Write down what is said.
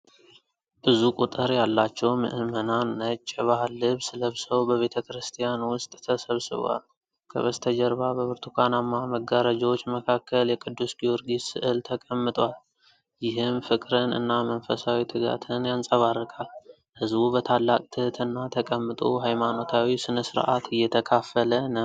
ብዙ ቁጥር ያላቸው ምዕመናን ነጭ የባህል ልብስ ለብሰው በቤተ ክርስቲያን ውስጥ ተሰብስበዋል። ከበስተጀርባ በብርቱካናማ መጋረጃዎች መካከል የቅዱስ ጊዮርጊስ ስዕል ተቀምጧል፤ ይህም ፍቅርን እና መንፈሳዊ ትጋትን ያንጸባርቃል። ሕዝቡ በታላቅ ትህትና ተቀምጦ ሃይማኖታዊ ሥነ ሥርዓት እየተካፈለ ነው።